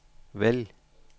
vælg